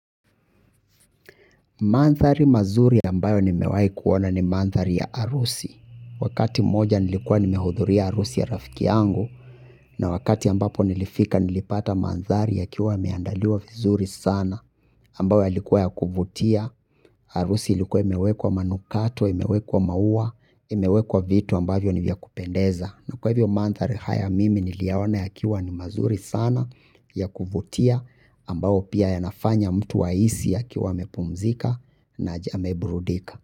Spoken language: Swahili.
Manthari mazuri ambayo nimewai kuwana ni manthari ya arusi. Wakati moja nilikuwa nimehudhuri ya arusi ya rafiki yangu na wakati ambapo nilifika nilipata manthari yakiwa yameandaliwa vizuri sana ambayo yalikuwa ya kuvutia. Arusi ilikuwa imewekwa manukato, imewekwa maua, imewekwa vitu ambavyo ni vya kupendeza. Na kwa hivyo manthari haya mimi niliyaona yakiwa ni mazuri sana ya kuvutia ambao pia yanafanya mtu ahisi akiwa amepumzika na amebrudika.